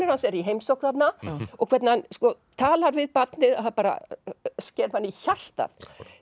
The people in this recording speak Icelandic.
hans er í heimsókn þarna og hvernig hann talar við barnið það sker mann í hjartað